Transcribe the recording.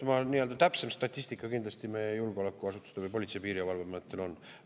Nii et täpsem statistika kindlasti meie julgeolekuasutustel või Politsei- ja Piirivalveametil on.